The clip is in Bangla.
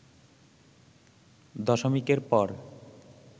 দশমিকের পর